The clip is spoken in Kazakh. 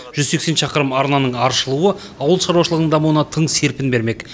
жүз сексен шақырым арнаның аршылуы ауыл шаруашылығының дамуына тың серпін бермек